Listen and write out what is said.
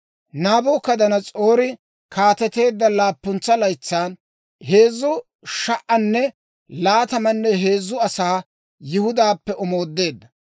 Naabukadanas'oori kaateteedda laappuntsa laytsan heezzu sha"anne laatamanne heezzu asaa Yihudaappe omoodeedda.